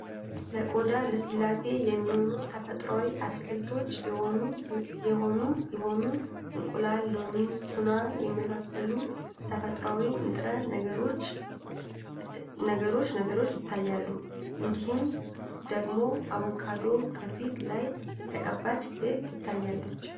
ለቆዳ ልስላሴ የሚሆኑ ተፈጥሯዊ አትክልቶች የሆኑ ሲሆኑ እንቁላል ፥ሎሚ ፥ቱና የመሳሰሉ ተፈጥሮአዊ ንጥረ ነገሮች ነገሮች ይታያሉ። እንዲሁም ደግሞ አቡካዶ ከፊት ላይ የተቀባች ሴት ትታያለች።